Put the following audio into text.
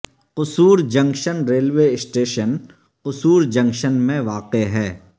قصور junction railway station Kasur junction میں واقع ہے